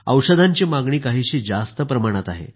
औषधांची मागणी काहीशी जास्त प्रमाणात आहे